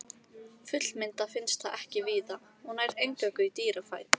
Fullmyndað finnst það ekki víða og nær eingöngu í dýrafæðu.